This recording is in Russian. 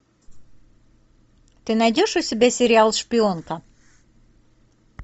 ты найдешь у себя сериал шпионка